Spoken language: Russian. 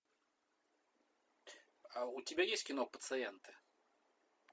а у тебя есть кино пациенты